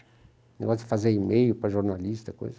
O negócio de fazer e-mail para jornalista, coisa.